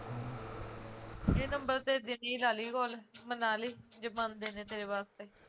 ਏਹ ਨੰਬਰ ਤੇ ਜੱਦੀ ਲਾਲੀ call ਮਨਾਲੀ ਜੇ ਮਨਦੇ ਨੇ ਤੇਰੇ ਵਾਸਤੇ